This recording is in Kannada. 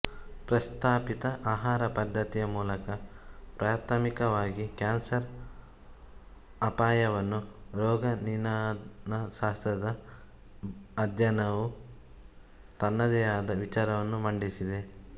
ಪ್ರಸ್ತಾಪಿತ ಆಹಾರ ಪದ್ದತಿಯ ಮೂಲಕ ಪ್ರಾಥಮಿಕವಾಗಿ ಕ್ಯಾನ್ಸರ್ ಅಪಾಯವನ್ನು ರೋಗನಿದಾನ ಶಾಸ್ತ್ರದ ಅಧ್ಯಯನವು ತನ್ನದೇ ಆದ ವಿಚಾರವನ್ನು ಮಂಡಿಸಿದೆ